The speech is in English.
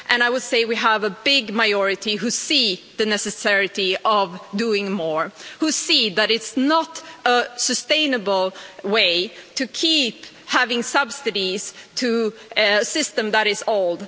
I would say that we have a big majority who see the necessity of doing more and who see that it's not a sustainable way to keep giving subsidies to a system that is old.